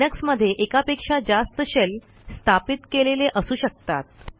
लिनक्समध्ये एकापेक्षा जास्त शेल स्थापित केलेले असू शकतात